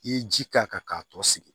I ye ji k'a kan k'a tɔ sigi